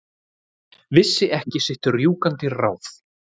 Vissi ekki sitt rjúkandi ráð.